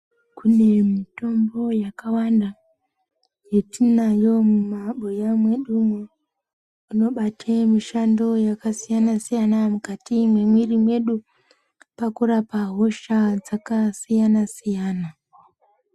Kune mitombo yakawanda, yetinayo mumabuya mwedumo, inobate mishando yakasiyanasiyana mukati mwemiri mwedu pakurapa hosha dzakasiyanasiyana.